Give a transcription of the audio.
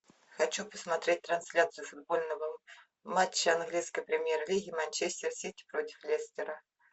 хочу посмотреть трансляцию футбольного матча английской премьер лиги манчестер сити против лестера